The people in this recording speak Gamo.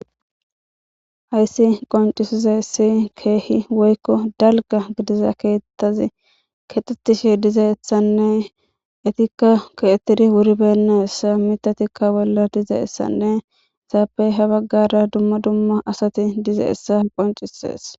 Hayssi qoncisiza issi keehi woykko dalga gidiza keettazi kexxetishe diza essanne etikka keettidi wuri beyenna essa mita tikka bolla diza essanne saapey ha baggara dumma dumma asati diza essa qoncisees.